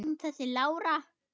Hver var hún þessi Lára?